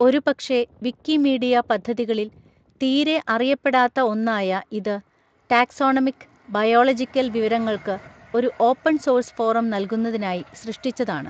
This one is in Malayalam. ഒരുപക്ഷേ വിക്കിമീഡിയ പദ്ധതികളിൽ തീരെ അറിയപ്പെടാത്ത ഒന്നായ ഇത് ടാക്സോണമിക്, ബയോളജിക്കൽ വിവരങ്ങൾക്ക് ഒരു ഓപ്പൺ സോഴ്സ് ഫോറം നൽകുന്നതിനായി സൃഷ്ടിച്ചതാണ്.